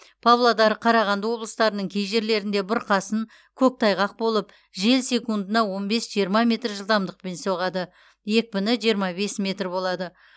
павлодар қарағанды облыстарының кей жерлерінде бұрқасын көктайғақ болып жел секундына он бес жиырма метр жылдамдықпен соғады екпіні жиырма бес метр болады